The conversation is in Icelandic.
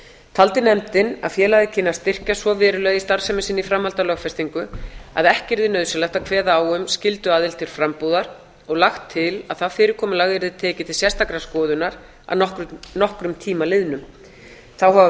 taldi nefndin að félagið kynni að styrkjast svo verulega í starfsemi sinni í framhaldi af lögfestingu að ekki yrði nauðsynlegt að kveða á um skylduaðild til frambúðar og lagt til að það fyrirkomulag yrði tekið til sérstakrar skoðunar að nokkrum tíma liðnum þá hafa